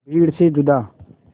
भीड़ से जुदा